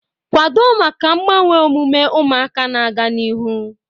Kwado maka mgbanwe omume ụmụaka na-aga n'ihu